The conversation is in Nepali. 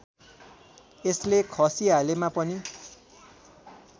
यसले खसिहालेमा पनि